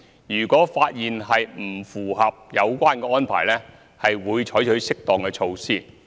如果發現不符合有關安排，會採取適當措施。